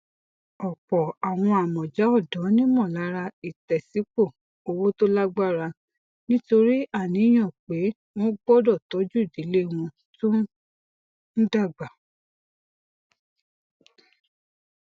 ọpọ àwọn amọja ọdọ nímọlára ìtẹsípọ owó tó lágbára nítorí àníyàn pé wọn gbọdọ tọjú ìdílé wọn tó ń dàgbà